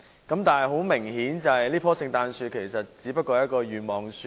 不過，很明顯，這棵聖誕樹其實只是一棵願望樹。